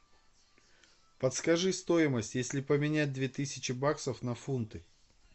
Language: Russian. подскажи стоимость если поменять две тысячи баксов на фунты